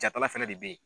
Jatala fɛnɛ de be yen